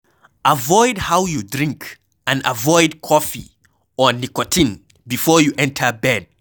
Avoid how you drink and avoid cofee or nicotine before you enter bed